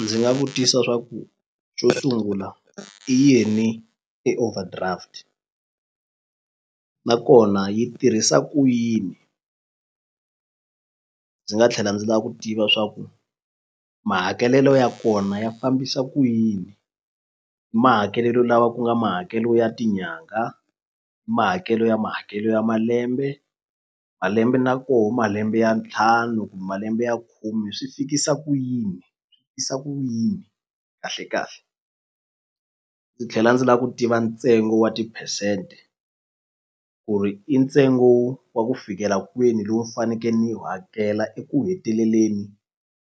Ndzi nga vutisa swa ku xo sungula i yini i overdraft nakona yi tirhisa ku yini ndzi nga tlhela ndzi la ku tiva swa ku mahakelelo ya kona ya fambisa ku yini mahakelelo lawa ku nga mahakelo ya tinyangha mahakelo ya mahakelo ya malembe malembe na koho malembe ya ntlhanu malembe ya khume swi fikisa ku yini ku yini kahle kahle ni tlhela ndzi lava ku tiva ntsena ntsengo wa tiphesente ku ri i ntsengo wa ku fikela kwini lowu ni faneke ni wu hakela eku heteleleni